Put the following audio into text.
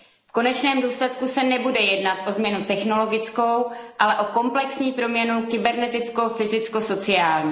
V konečném důsledku se nebude jednat o změnu technologickou, ale o komplexní proměnu kyberneticko fyzicko sociální.